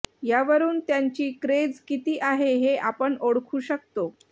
यावरुन त्यांची क्रेझ किती आहे हे आपण ओळखू शकतो